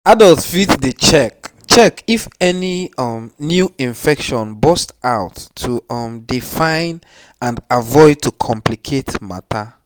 adults fit dey check check if any um new infection burst out to um dey fine and avoid to complicate matter